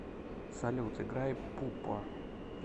салют играй пупо